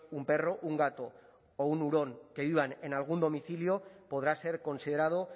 un perro un gato o un hurón que vivan en algún domicilio podrá ser considerado